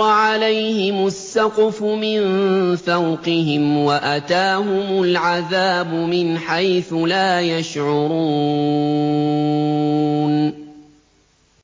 عَلَيْهِمُ السَّقْفُ مِن فَوْقِهِمْ وَأَتَاهُمُ الْعَذَابُ مِنْ حَيْثُ لَا يَشْعُرُونَ